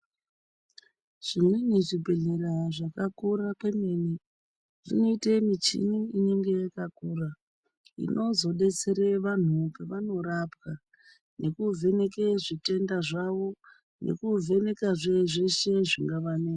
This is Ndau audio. Chimweni chibhedhlera zvakakura kwemene zvinoita michini inozodetsera antu pavanorapwa nekuvheneka zvitenda zvawo nekuvheneka zveshe zvingavanesa.